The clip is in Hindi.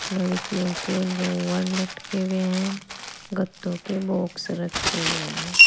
लड़कियों के लोवर लटके हुए हैं गत्तों के बॉक्स रखे हुए हैं।